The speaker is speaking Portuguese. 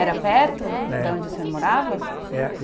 Era perto da onde o senhor morava? É